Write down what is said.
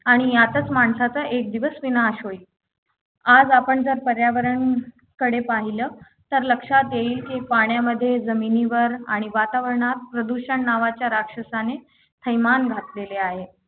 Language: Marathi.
आणि यातच माणसाचा एक दिवस विनाश होईल आज आपण जर पर्यावरण कडे पाहिल तर लक्षात येईल की पाण्यामध्ये जमिनीवर आणि वातावरणात प्रदूषण नावाच्या राक्षसाने थैमान घातलेले आहे